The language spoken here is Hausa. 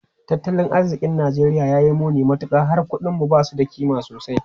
Tattalin arzikin Najeriya ya yi muni matuka, har kudinmu ba su da kima sosai.